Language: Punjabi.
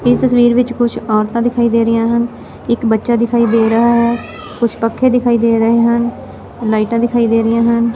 ਇੱਸ ਤਸਵੀਰ ਵਿੱਚ ਕੁੱਛ ਔਰਤਾਂ ਦਿਖਾਈ ਦੇ ਰਹੀਆਂ ਹਨ ਇੱਕ ਬੱਚਾ ਦਿਖਾਈ ਦੇ ਰਿਹਾ ਹੈ ਕੁੱਛ ਪੱਖੇ ਦਿਖਾਈ ਦੇ ਰਹੇ ਹਨ ਲਾਈਟਾਂ ਦਿਖਾਈ ਦੇ ਰਹੀਆਂ ਹਨ।